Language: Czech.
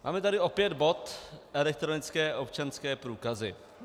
Máme tady opět bod elektronické občanské průkazy.